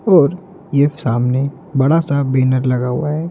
और ये सामने बड़ा सा बैनर लगा हुआ है।